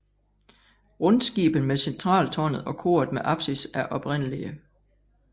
Rundskibet med centraltårnet og koret med apsis er oprindelige